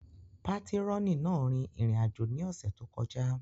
Patirọni náà rin irin-ajo ni ọsẹ to kọja.